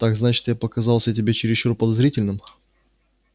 так значит я показался тебе чересчур подозрительным